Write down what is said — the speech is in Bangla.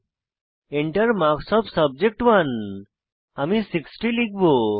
Enter মার্কস ওএফ সাবজেক্ট1 আমি 60 লিখব